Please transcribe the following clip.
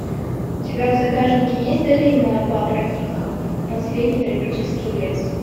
у тебя в загашнике есть долина папортников последний тропический лес